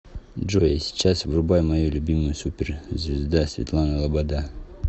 джой а сейчас врубай мою любимую супер звезда светлана лобода